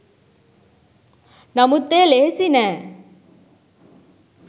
නමුත් එය ලෙහෙසි නෑ